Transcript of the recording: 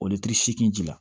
O seegin ji la